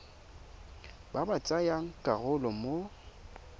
ba ba tsayang karolo mo